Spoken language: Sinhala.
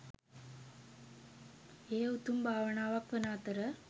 එය උතුම් භාවනාවක් වන අතර